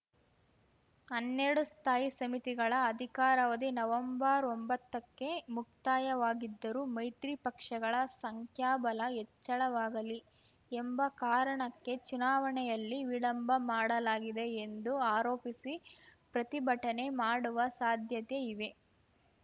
ಹನ್ನೆರಡು ಸ್ಥಾಯಿ ಸಮಿತಿಗಳ ಅಧಿಕಾರವಧಿ ನವೆಂಬರ್ಒಂಬತ್ತಕ್ಕೆ ಮುಕ್ತಾಯವಾಗಿದ್ದರೂ ಮೈತ್ರಿ ಪಕ್ಷಗಳ ಸಂಖ್ಯಾಬಲ ಹೆಚ್ಚಳವಾಗಲಿ ಎಂಬ ಕಾರಣಕ್ಕೆ ಚುನಾವಣೆಯಲ್ಲಿ ವಿಳಂಬ ಮಾಡಲಾಗಿದೆ ಎಂದು ಆರೋಪಿಸಿ ಪ್ರತಿಭಟನೆ ಮಾಡುವ ಸಾಧ್ಯತೆ ಇವೆ